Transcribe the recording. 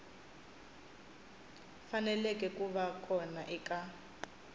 faneleke ku va kona eka